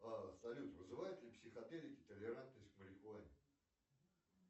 а салют вызывают ли психоделики толерантность к марихуане